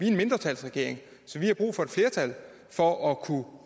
en mindretalsregering så vi har brug for et flertal for at